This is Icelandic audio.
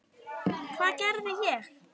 Hvað gerði ég?